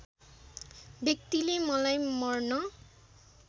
व्यक्तिले मलाई मर्न